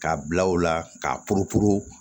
K'a bila u la k'a poropuru